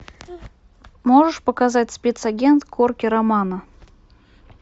можешь показать спецагент корки романо